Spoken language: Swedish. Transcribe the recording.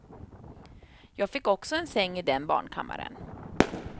Jag fick också en säng i den barnkammaren.